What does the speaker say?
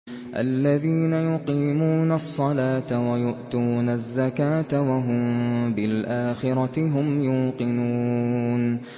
الَّذِينَ يُقِيمُونَ الصَّلَاةَ وَيُؤْتُونَ الزَّكَاةَ وَهُم بِالْآخِرَةِ هُمْ يُوقِنُونَ